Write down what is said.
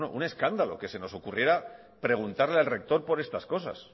un escándalo que se nos ocurriera preguntarle al rector por estas cosas